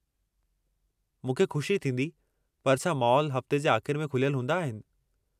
मूंखे खु़शी थींदी पर छा मॉल हफ़्ते जे आख़िर में खुलियलु हूंदा आहिनि?